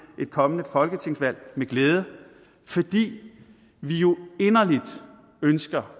et kommende folketingsvalg med glæde fordi vi jo inderligt ønsker